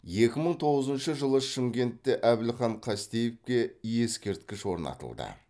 екі мың тоғызыншы жылы шымкентте әбілхан қастеевке ескерткіш орнатылды